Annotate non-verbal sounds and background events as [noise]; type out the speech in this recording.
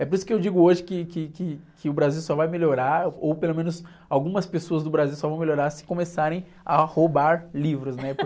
É por isso que eu digo hoje que, que, que, que o Brasil só vai melhorar, ou pelo menos algumas pessoas do Brasil só vão melhorar se começarem a roubar livros, né? [laughs]